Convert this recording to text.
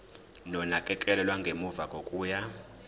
nonakekelo lwangemuva kokuya